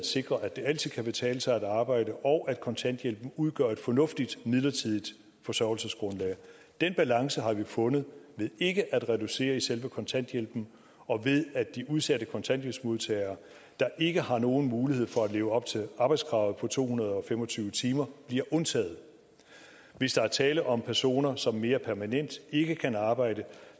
sikre at det altid kan betale sig at arbejde og at kontanthjælpen udgør et fornuftigt midlertidigt forsørgelsesgrundlag den balance har vi fundet ved ikke at reducere selve kontanthjælpen og ved at de udsatte kontanthjælpsmodtagere der ikke har nogen mulighed for at leve op til arbejdskravet på to hundrede og fem og tyve timer bliver undtaget hvis der er tale om personer som mere permanent ikke kan arbejde